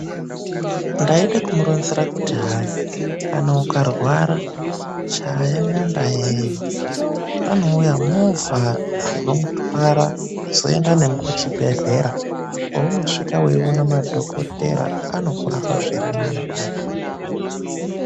Ndaide kumuronzera kuti hayi kana ukarwara chaya nyandayeyo kunouya movha dzinomutwara dzoenda nemwi kuchibhedhlera, kweunosvika weiwona madhokotera anokurapa zvirinani kudai.